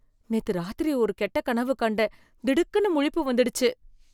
நேத்து ராத்திரி ஒரு கெட்ட கனவு கண்டேன், திடுக்குன்னு முழிப்பு வந்துடுச்சு.